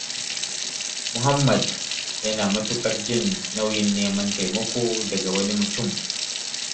Muhammad yana matuƙar jin nauyin neman taimako daga wani mutum.